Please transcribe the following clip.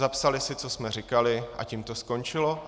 Zapsali si, co jsme říkali, a tím to skončilo.